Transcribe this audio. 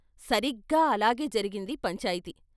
సరిగ్గా అలాగే జరిగింది పంచాయితీ.